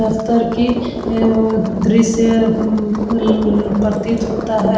दफ्तर की ए ए अम दृश्य अम ल प्रतीत होता है।